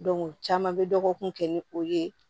caman bɛ dɔgɔkun kɛ ni o ye